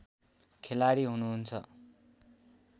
खेलाडी हुनुहुन्छ